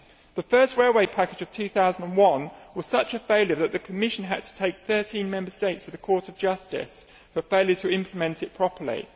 The first railway package of 2001 was such a failure that the Commission had to take 13 Member States to the Court of Justice for failure to implement it properly.